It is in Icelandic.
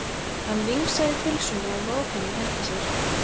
Hann vingsaði pylsunni og vóg hana í hendi sér.